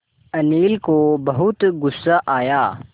अनिल को बहुत गु़स्सा आया